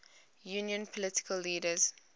union political leaders